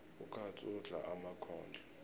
ukatsu udla emakhondlo